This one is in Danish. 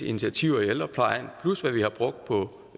initiativer i ældreplejen plus hvad vi har brugt på